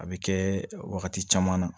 A bɛ kɛ wagati caman na